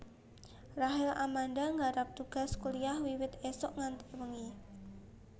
Rachel Amanda nggarap tugas kuliah wiwit isuk nganti wengi